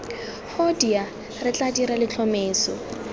hoodia re tla dira letlhomeso